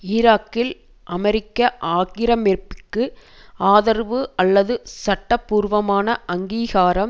ஈராக்கில் அமெரிக்க ஆக்கிரமிப்பிற்கு ஆதரவு அல்லது சட்டபூர்வமான அங்கீகாரம்